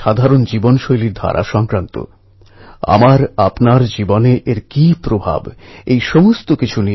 ওখানকার যে সব বেরানোর জায়গা আছে সেখানে যান সে সম্পর্কে জানুন